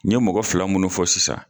N ye mɔgɔ fila munnu fɔ sisan.